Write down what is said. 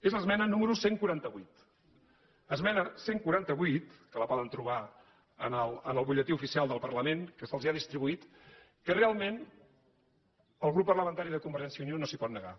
és l’esmena número cent i quaranta vuit esmena cent i quaranta vuit que la poden trobar en el butlletí oficial del parlament que se’ls ha distribuït que realment el grup parlamentari de convergència i unió no s’hi pot negar